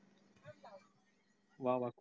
वा वा